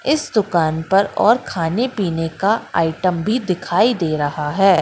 इस दुकान पर और खाने पीने का आइटम भी दिखाई दे रहा है।